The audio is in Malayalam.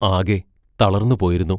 ആകെ തളർന്നു പോയിരുന്നു.